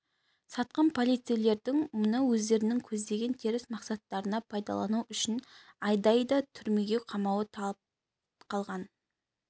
сатқын полицейлердің мұны өздерінің көздеген теріс мақсаттарына пайдалану үшін айдайды түрмеге қамауы талып қалған